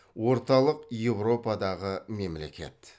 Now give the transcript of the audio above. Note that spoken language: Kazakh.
орталық еуропадағы мемлекет